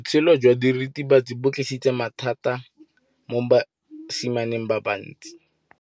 Botshelo jwa diritibatsi ke bo tlisitse mathata mo basimaneng ba bantsi.